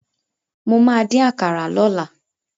Mo ma dín àkàrà lọ́la.